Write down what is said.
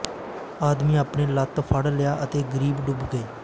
ਆਦਮੀ ਆਪਣੇ ਲੱਤ ਫੜ ਲਿਆ ਅਤੇ ਕਰੀਬ ਡੁੱਬ ਗਏ